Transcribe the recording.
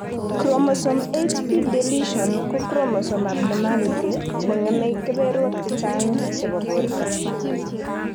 Chromosome 8p deletion ko chromosome abnormality ne ng'eme kebeberwek chechang chebo borto